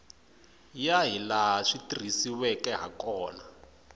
ya hilaha swi tirhisiweke hakona